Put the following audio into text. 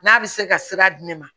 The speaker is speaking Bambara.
N'a bɛ se ka sira di ne ma